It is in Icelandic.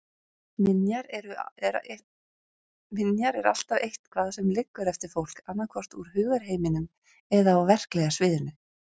Minjar er alltaf eitthvað sem liggur eftir fólk, annaðhvort úr hugarheiminum eða á verklega sviðinu.